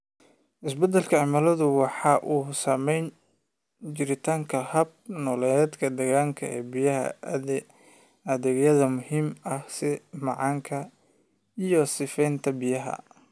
Isbeddelka cimiladu waxa uu saameeyaa jiritaanka hab-nololeedyada deegaanka ee bixiya adeegyada muhiimka ah, sida manka iyo sifaynta biyaha.